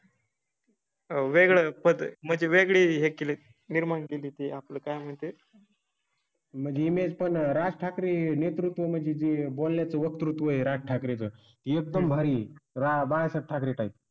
वेळ म्हणजे वेगळी हें केलें. निर्माण केली ते आपलं काय म्हणते? मग इमेज पण राज ठाकरे नेतृत्व म्हणजे बोलण्या चं वक्तृत्व हे राज ठाकरें चं एकदम भारी बाळ ठाकरे टाइप.